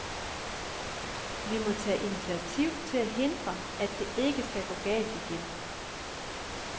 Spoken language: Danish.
Vi må tage initiativ til at hindre, at det ikke skal gå galt igen.